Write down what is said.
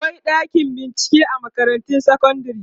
akwai ɗakin bincike a makarantar sekondari